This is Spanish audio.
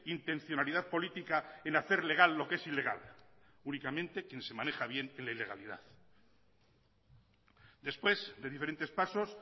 intencionalidad política en hacer legal lo que es ilegal únicamente quien se maneja bien en la ilegalidad después de diferentes pasos